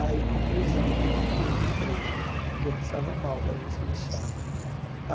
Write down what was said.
Aí, conclusão, não fiquei no emprego, porque eu passava mal cada vez que lixava.